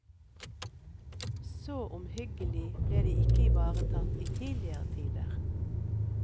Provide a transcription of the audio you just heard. Så omhyggelig ble de ikke ivaretatt i tidligere tider.